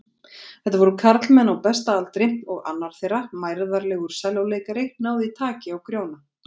Þetta voru karlmenn á besta aldri og annar þeirra, mærðarlegur sellóleikari, náði taki á Grjóna.